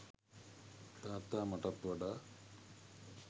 තාත්තා මටත් වඩා